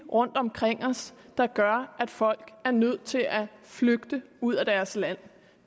rundtomkring os der gør at folk er nødt til at flygte ud af deres land